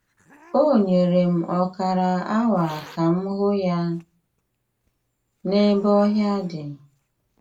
O nyere m ọkara awa ka m hụ ya n’ebe ọhịa dị.